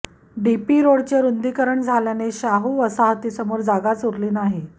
DP रोडचे रुंदीकरण झाल्याने शाहू वसाहतीसमोर जागाच उरली नाही